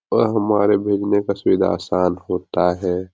और हमारे भेजने का सुविधा आसान होता है।